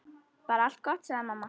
Bara allt gott, sagði mamma.